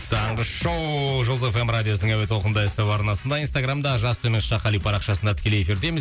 таңғы шоу жұлдыз эф эм радиосының әуе толқынында ств арнасында инстаграмда жас төмен сызықша қали парақшасында тікелей эфирдеміз